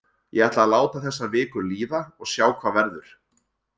Ég ætla að láta þessa viku líða og sjá hvað verður.